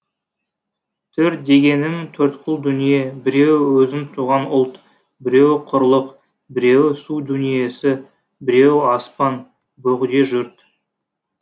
төрт дегенім төрткүл дүние біреуі өзің туған ұлт біреуі құрлық біреуі су дүниесі біреуі аспан бөгде жұрт